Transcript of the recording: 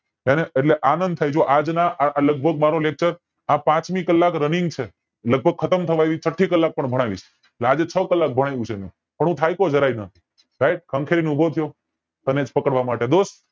અને એટલે આનંદ થાય જો આજ ના લગભગ મારો lecture આ પાંચમી કલાક runnig છે લગભગ ખતમ થવા આવી છઠ્ઠી કલાક પણ ભણાવીશ એટલે આજે છ કલાક ભણાવ્યુ છે મેં પણ હું થાક્યો જરાય નથી right ખંખેરી ને ઉભો થયો તમેજ પકડવા માટે